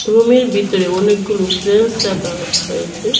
রুমের বিতরে অনেকগুলো ব্রেঞ্চ রাকা হয়েছে।